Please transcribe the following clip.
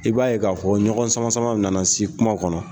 I b'a ye k'a fɔ ɲɔgɔn sama sama nana se kuma kɔnɔ